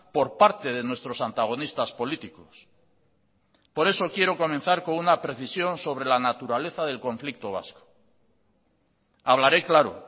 por parte de nuestros antagonistas políticos por eso quiero comenzar con una precisión sobre la naturaleza del conflicto vasco hablaré claro